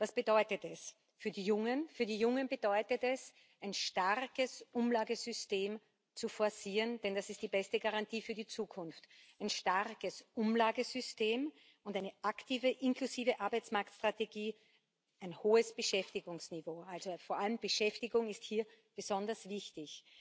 Was bedeutet das für die Jungen? Für die Jungen bedeutet das, ein starkes Umlagesystem zu forcieren, denn das ist die beste Garantie für die Zukunft ein starkes Umlagesystem und eine aktive, inklusive Arbeitsmarktstrategie, ein hohes Beschäftigungsniveau vor allem Beschäftigung ist hier besonders wichtig.